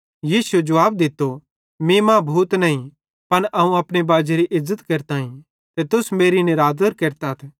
यीशुए जुवाब दित्तो मीं मां भूत नईं पन अवं अपने बाजेरी इज़्ज़त केरताईं ते तुस मेरी निरादर केरतथ